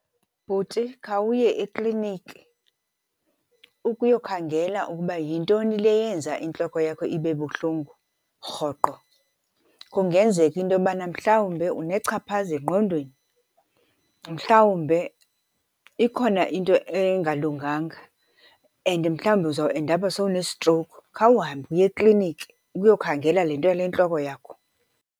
Bhuti, khawuye ekliniki ukuyokhangela ukuba yintoni le yenza intloko yakho ibe buhlungu rhoqo. Kungenzeka into yobana mhlawumbe unechaphaza engqondweni, mhlawumbe ikhona into engalunganga and mhlawumbe uzawuendapha sowune-stroke. Khawuhambe uye ekliniki ukhe uyokhangela le nto yale ntloko yakho.